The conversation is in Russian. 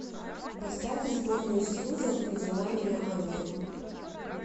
поставь сборную союза ты назвала меня ангелом